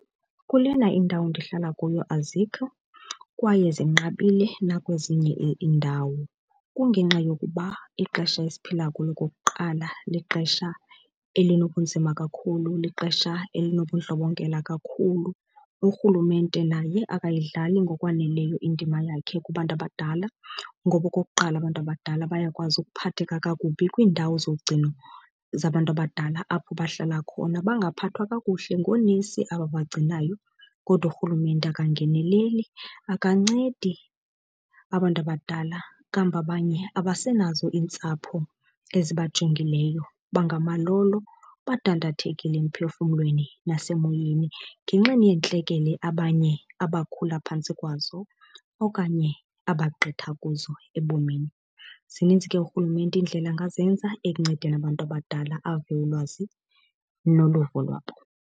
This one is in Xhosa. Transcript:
Kulena indawo ndihlala kuyo azikho kwaye zinqabile nakwezinye iindawo. Kungenxa yokuba ixesha esiphila kulo okokuqala lixesha elinobunzima kakhulu, lixesha elinobundlobongela kakhulu. Urhulumente naye akayidlali ngokwaneleyo indima yakhe kubantu abadala ngoba okokuqala abantu abadala bayakwazi ukuphatheka kakubi kwiindawo zogcino zabantu abadala, apho bahlala khona bangaphathwa kakuhle ngoonesi ababagcinayo. Kodwa urhulumente angeneleli, akancedi abantu abadala. Kambe abanye abasenazo iintsapho ezibanjongileyo, bangamalolo, badandathekile emphefumlweni nasemoyeni ngenxeni yeentlekele abanye abakhula phantsi kwazo okanye abagqitha kuzo ebomini. Zininzi ke urhulumente iindlela angazenza ekuncedeni abantu abadala, ave ulwazi noluvo lwabo.